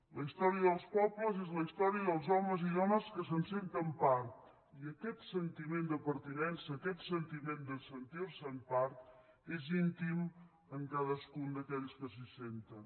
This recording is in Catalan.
la història dels pobles és la història dels homes i dones que se’n senten part i aquest sentiment de pertinença aquest sentiment de sentir se’n part és íntim en cadascun d’aquells que s’hi senten